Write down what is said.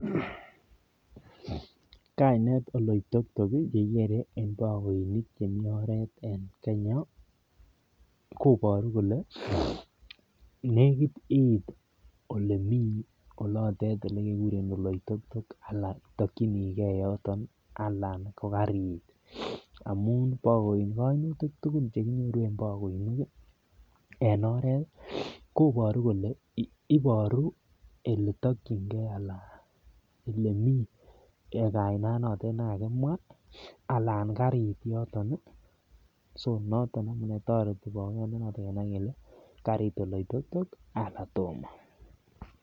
Kainet Oleitok tok ih kekere en bagoinik chemi oret en Kenya kobaru kole nekit iit olemi olekikuren Oleitok tok Alan itakinike yoto anan kokariit amuun en kainutik tugul chekikuren en bagoinik ih, en oret kobaru kole , ibaru oletakienke anan mi kainet notet nekakimwa Alan kariit yoto, noton neboru kole kariit Oleitok tok anan toma.